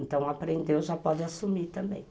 Então, aprendeu, já pode assumir também.